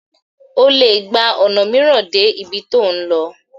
o le gba ona miiran dé ibí to n lò